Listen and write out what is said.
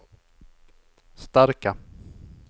starka